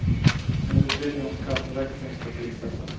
En utredning om skatteväxling ska tillsättas.